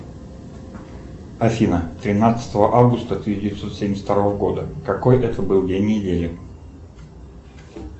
афина тринадцатого августа тысяча девятьсот семьдесят второго года какой это был день недели